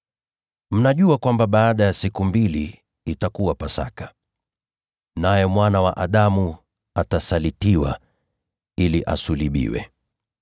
“Kama mnavyojua, baada ya siku mbili itakuwa Pasaka, naye Mwana wa Adamu atasalitiwa ili asulubiwe.”